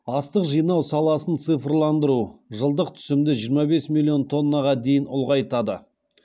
астық жинау саласын цифрландыру жылдық түсімді жиырма бес миллион тоннаға дейін ұлғайтады